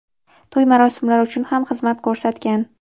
to‘y marosimlari uchun ham xizmat ko‘rsatgan.